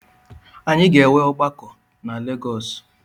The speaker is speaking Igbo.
Anyị ga-enwe ọgbakọ na Legọs